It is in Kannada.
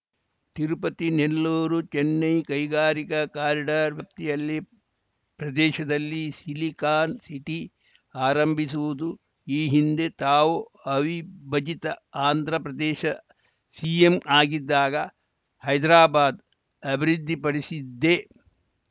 ತಿರುಪತಿನೆಲ್ಲೂರು ಚೆನ್ನೈ ಕೈಗಾರಿಕಾ ಕಾರಿಡಾರ್‌ ವ್ಯಾಪ್ತಿಯಲ್ಲಿ ಪ್ರದೇಶದಲ್ಲಿ ಸಿಲಿಕಾನ್‌ ಸಿಟಿ ಆರಂಭಿಸುವುದು ಈ ಹಿಂದೆ ತಾವು ಅವಿಭಜಿತ ಆಂಧ್ರಪ್ರದೇಶ ಸಿಎಂ ಆಗಿದ್ದಾಗ ಹೈದ್ರಾಬಾದ್‌ ಅಭಿವೃದ್ಧಿಪಡಿಸಿದ್ದೆ